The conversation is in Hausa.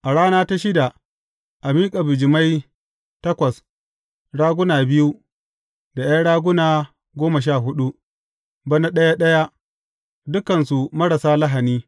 A rana ta shida a miƙa bijimai takwas, raguna biyu, da ’yan raguna goma sha huɗu, bana ɗaya ɗaya, dukansu marasa lahani.